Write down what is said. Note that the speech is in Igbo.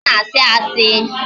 Ọ na-asị asị